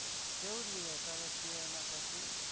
કેવું રહ્યું એમાં